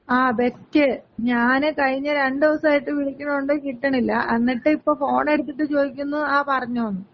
ആ, ബെസ്റ്റ് ഞാന് കഴിഞ്ഞ രണ്ടീസായിട്ട് വിളിക്കണൊണ്ട്. കിട്ടണില്ല. എന്നിട്ടിപ്പ ഫോണ് എടുത്തിട്ട് ചോദിക്കുന്നു, ങാ പറഞ്ഞോന്ന്.